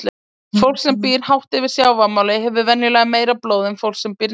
Fólk sem býr hátt yfir sjávarmáli hefur venjulega meira blóð en fólk sem býr neðar.